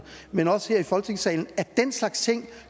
men også her i folketingssalen at den slags ting